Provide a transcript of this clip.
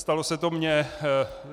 Stalo se to mně.